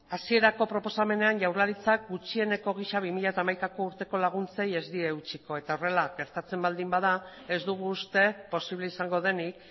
hasierako proposamenean jaurlaritzak gutxieneko gisa bi mila hamaikako urteko laguntzei ez die eutsiko eta horrela gertatzen baldin bada ez dugu uste posible izango denik